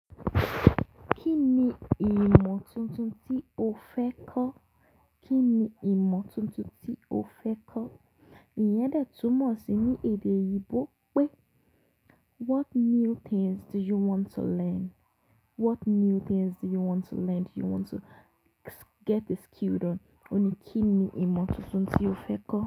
Kí ni ìmọ̀ tuntun tí o fẹ́ kọ́? Kí ni ìmọ̀ tuntun tí o fẹ́ kọ́? Iyẹn dẹ̀ túmọ̀ sí ní èdè oyinbò pé what new things do you want to learn? What new things do you want to learn? Do you want to get a skill then? Òní, kí ni ìmọ̀ tuntun tí o fẹ́ kọ́?